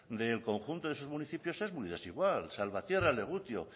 del conjunto de sus municipios es muy desigual salvatierra legutio